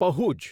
પહુજ